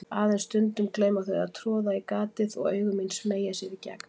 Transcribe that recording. Aðeins stundum gleyma þau að troða í gatið og augu mín smeygja sér í gegn.